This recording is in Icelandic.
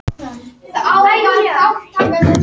Hægt er að horfa á myndina hér að ofan.